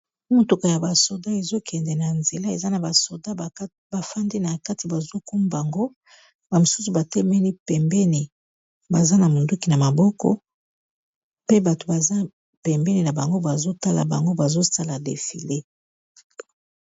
motuko ya basoda ezokende na nzela eza na basoda bafandi na kati bazokumbango bamosusu batemeni pembeni baza na monduki na maboko pe bato baza pembeni na bango bazotala bango bazosala defile